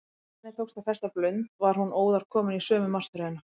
Þegar henni tókst að festa blund var hún óðar komin í sömu martröðina.